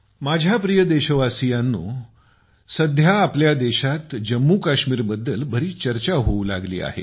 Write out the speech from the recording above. माझ्या प्रिय देशवासियांनो आजकाल आपल्या देशात जम्मूकाश्मीर बद्दल बरीच चर्चा होऊ लागली आहे